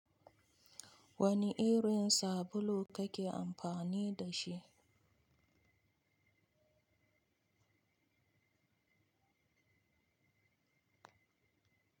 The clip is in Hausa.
Wani irin sabulu kake amfani da shi?